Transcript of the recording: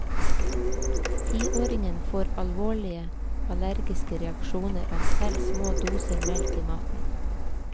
Tiåringen får alvorlige allergiske reaksjoner av selv små mengder melk i maten.